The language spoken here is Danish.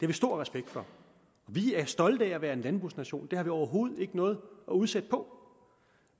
vi stor respekt for vi er stolte af at være en landbrugsnation det har vi overhovedet ikke noget at udsætte på